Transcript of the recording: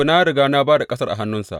Na riga na ba da ƙasar a hannunsu.